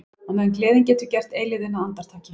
Á meðan gleðin getur gert eilífðina að andartaki.